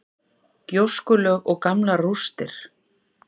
Gjóskulög og gamlar rústir.